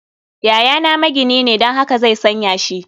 Yayana magini ne, don haka zai san yashi